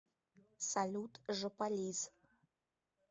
салют жополиз